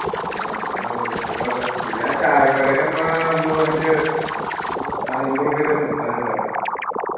ആ അതാണ് നമ്മക്ക് setup ആക്ക. പിന്നെ ആ ചായ കടയിൽ നമ്മൾ ആ അന്ന് പോയെന്റെ അഹ് അയിമ്പ ഉർപ്യയറ്റം കൊടുക്കാനിണ്ടു ആടെ